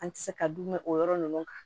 An tɛ se ka dun mɛn o yɔrɔ ninnu kan